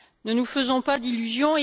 Ne nous faisons pas d'illusions.